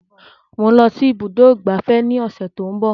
Mò ń lọ sí ibùdó ìgbafẹ́ ní ọ̀sẹ̀ tí ó ń bọ̀